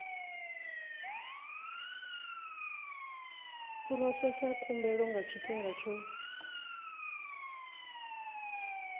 phurosesa khumbelo nga tshifhinga tsho